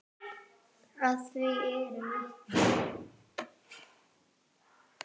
Að því eru vitni.